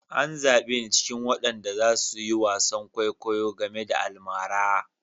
An zabe ni cikin waɗanda za su yi wasan kwaikwayo game da almara.